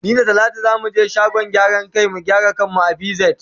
Ni da talatu za mu ge shagon gyaran kai mu gyara kan mu a pz.